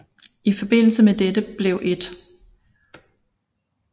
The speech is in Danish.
I forbindelse med dette blev 1